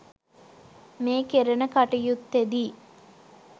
මේ කෙරෙන කටයුත්තෙදී